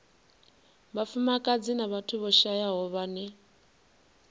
vhafumakadzi na vhathu vhashayaho vhane